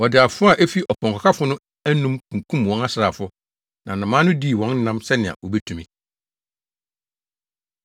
Wɔde afoa a efi ɔpɔnkɔkafo no anom kunkum wɔn asraafo, na nnomaa no dii wɔn nam sɛnea wobetumi.